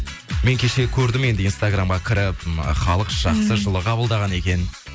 мен кеше көрдім енді инстаграмға кіріп м халық жақсы жылы қабылдаған екен